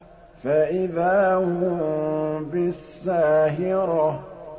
فَإِذَا هُم بِالسَّاهِرَةِ